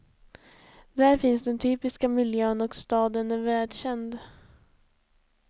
Där finns den typiska miljön och staden är världskänd.